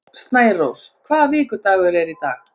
Snærós, hvaða vikudagur er í dag?